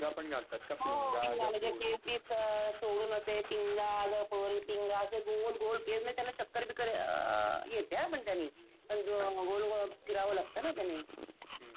पिंगा म्हणजे केस बिस सोडून असे पिंगा ग पोरी, पिंगा, असे गोल गोल केस म्हणजे त्याना चक्कर बिक्कर अ येते हा पण त्यांनी कारण गोल गोल फिरावं लागतं ना त्यांनी म्हणून.